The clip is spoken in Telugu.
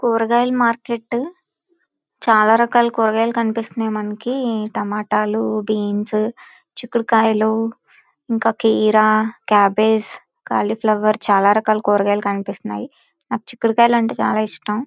కూరగాయల మార్కెట్ చాల రకాల కూరగాయలు కనిపిస్తున్నాయి మనకి టమాటా లు బీన్స్ చీకుడు కాయలు ఇంకా కీరా క్యాబేజి క్యాలీఫ్లవర్ చాలా రకాల కూరగాయలు కనిపిస్తున్నాయి. నాకు చిక్కుడు కాయ అంటే చాల ఇష్టం.